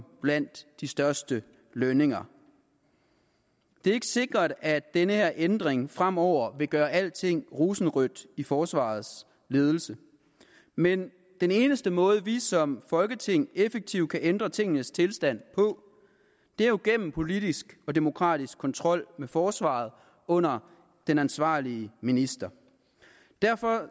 blandt de største lønninger det er ikke sikkert at den her ændring fremover vil gøre alting rosenrødt i forsvarets ledelse men den eneste måde vi som folketing effektivt kan ændre tingenes tilstand på er jo gennem politisk og demokratisk kontrol med forsvaret under den ansvarlige minister derfor